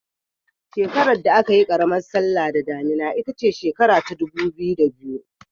Shekarar da aka yi karamar sallah da damuna ita ce shekara ta 2002.